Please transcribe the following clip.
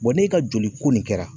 n'e ka joli ko nin kɛra